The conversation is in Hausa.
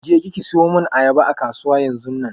Je ki ki siyo mun ayaba a kasuwa yanzunnan!